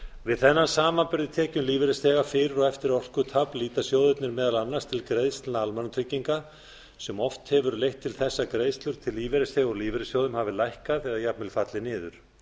við þennan samanburð á tekjum lífeyrisþega fyrir og eftir orkutap líta sjóðirnir meðal annars til greiðslna almannatrygginga sem oft hefur leitt til þess að greiðslur til lífeyrisþega úr lífeyrissjóðum hafi lækkað eða jafnvel fallið niður